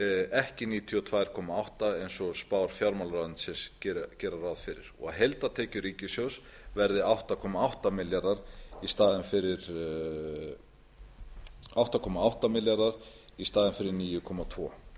ekki níutíu og tvö komma átta eins og spár fjármálaráðuneytisins gera ráð fyrir og heildartekjur ríkissjóðs verði átta komma átta milljarðar króna í staðinn fyrir níu komma tvö